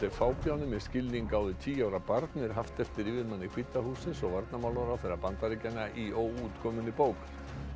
er fábjáni með skilning á við tíu ára barn er haft eftir yfirmanni hvíta hússins og varnarmálaráðherra Bandaríkjanna í óútkominni bók